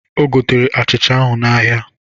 O gotere achịcha ahụ n'ahịa